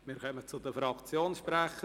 Wir kommen zu den Fraktionssprechern.